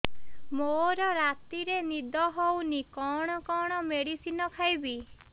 ମୋର ରାତିରେ ନିଦ ହଉନି କଣ କଣ ମେଡିସିନ ଖାଇବି